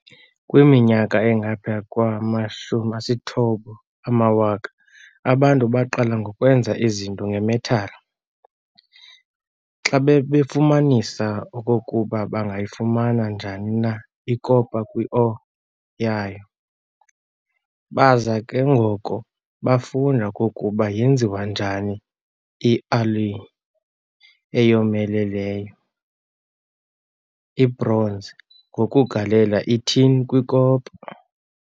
Kwiminyaka engaphaya kwama-9000 abantu baqala ngokwenza izinto nge-metal, xa babefumananisa okokuba bangayifumana njani na i-copper kwi-ore yayo. Baza ke ngoko bafunda okokuba yenziwa njani na ialloy eyomeleleyo, ibronze, ngokugalela i-tin kwi-copper.